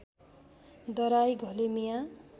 दराई घले मियाँ